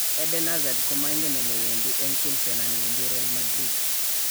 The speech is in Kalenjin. Eden Hazard komoigen elewedi eng Chelsea anan wendi Real Madrid